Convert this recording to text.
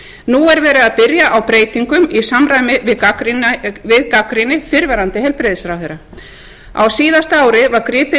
nú er verið að byrja á breytingum í samræmi við gagnrýni fyrrverandi heilbrigðisráðherra á síðasta ári var gripið